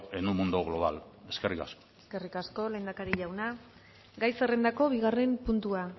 en un mundo global eskerrik asko eskerrik asko lehendakari jauna gai zerrendako bigarren puntua